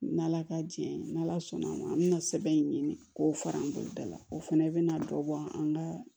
N' ala ka jɛn n'ala sɔnn'a ma an bɛna sɛbɛn in ɲini k'o fara n boloda la o fana bɛna dɔ bɔ an ka